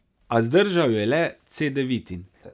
A zdržal je le Cedevitin.